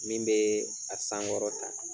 Min bɛ a san wɔɔrɔ kan